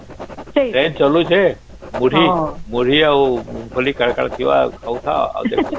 train ଚାଲୁଚେ ମୁଢି ମୁଢି ଆଉ ବୋଲି କଣ କଣ ଥିବା ଖାଉଥା